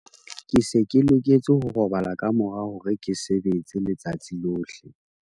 ke se ke loketse ho robala ka mora hore ke sebetse letsatsi lohle